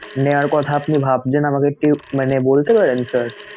নেয়ার কথা আপনি ভাবছেন আমাকে একটু মানে বলতে পারেন sir?